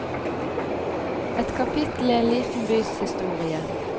Et kapitel i en liten bys historie.